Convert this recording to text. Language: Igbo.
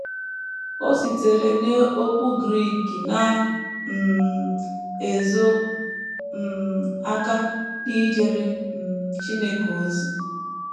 O sitere n’okwu Grik na - um ezo um aka n’ijere um Chineke ozi.